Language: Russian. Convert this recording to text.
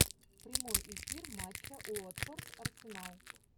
прямой эфир матча уотфорд арсенал